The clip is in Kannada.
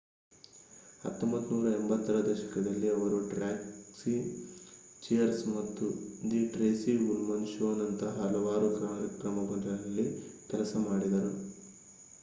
1980 ರ ದಶಕದಲ್ಲಿ ಅವರು ಟ್ಯಾಕ್ಸಿ ಚಿಯರ್ಸ್ ಮತ್ತು ದಿ ಟ್ರೇಸಿ ಉಲ್ಮನ್ ಶೋನಂತಹ ಹಲವಾರು ಕಾರ್ಯಕ್ರಮಗಳಲ್ಲಿ ಕೆಲಸ ಮಾಡಿದರು